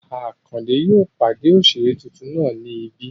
Àkàndé yóò pàdé òṣèré tuntun náà ní ibí